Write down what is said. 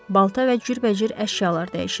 Balta və cürbəcür əşyalar dəyişirdilər.